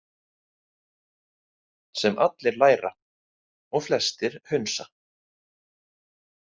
Sem allir læra og flestir hunsa.